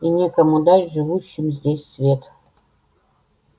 и некому дать живущим здесь свет